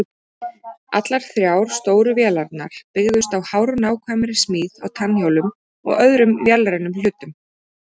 Allar þrjár stóru vélarnar byggðust á hárnákvæmri smíð á tannhjólum og öðrum vélrænum hlutum.